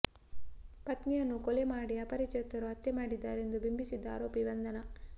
ಪತ್ನಿಯನ್ನು ಕೊಲೆ ಮಾಡಿ ಅಪರಿಚಿತರು ಹತ್ಯೆ ಮಾಡಿದ್ದಾರೆಂದು ಬಿಂಬಿಸಿದ್ದ ಆರೋಪಿ ಬಂಧನ